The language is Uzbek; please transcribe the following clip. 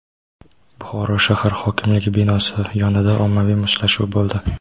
Buxoro shahar hokimligi binosi yonida ommaviy mushtlashuv bo‘ldi.